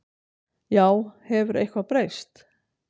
Já, hefur eitthvað breyst?